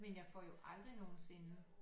Men jeg får jo aldrig nogensinde